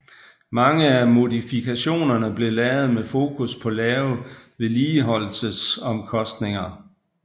Mange af modifikationerne blev lavet med fokus på lave vedligeholdelsesomkostninger